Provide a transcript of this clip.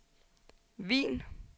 Wien